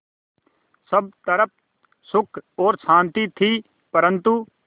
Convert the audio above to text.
सब तरफ़ सुख और शांति थी परन्तु